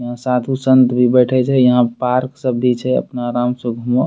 यहाँ साधु-संत भी बैठे छै यहाँ पार्क सब भी छै अपना आराम से घूमा।